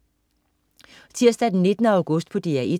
Tirsdag den 19. august - DR 1: